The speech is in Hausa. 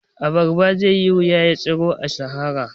A barba zaiyi wuya ya tsiro a sahara